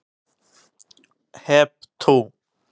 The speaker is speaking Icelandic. Hep tú!